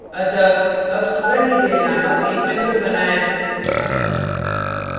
अतः अब studentdetail named एक method बनाएँ